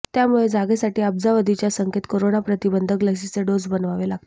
त्यामुळे जगासाठी अब्जावधीच्या संख्येत कोरोना प्रतिबंधक लसीचे डोस बनवावे लागतील